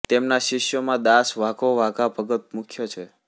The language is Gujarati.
તેમના શિષ્યોમાં દાસ વાઘો વાઘા ભગત મુખ્ય છે